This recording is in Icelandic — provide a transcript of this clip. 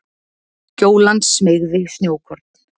Gjólan smeygði snjókorn